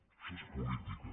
això és política